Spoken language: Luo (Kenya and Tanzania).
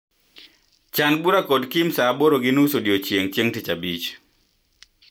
Chan bura kod Kim saaaboro gi nus odiechieng' chieng' tich abich.